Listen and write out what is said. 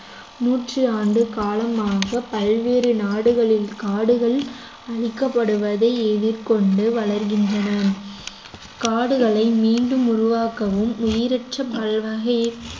நூற்றாண்டு காலமாக பல்வேறு நாடுகளில் காடுகள் அழிக்கப்படுவதை எதிர்கொண்டு வளர்கின்றன காடுகளை மீண்டும் உருவாக்கவும் உயிரற்ற வாழ்வாக